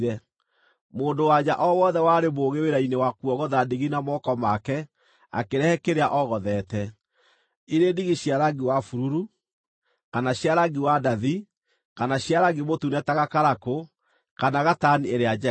Mũndũ-wa-nja o wothe warĩ mũũgĩ wĩra-inĩ wa kuogotha ndigi na moko make, akĩrehe kĩrĩa ogothete, ndigi cia rangi wa bururu, kana cia rangi wa ndathi, kana cia rangi mũtune ta gakarakũ, kana gatani ĩrĩa njega.